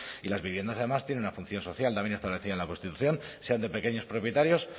y las viviendas además tienen una función social también establecida en la constitución sean de pequeños propietarios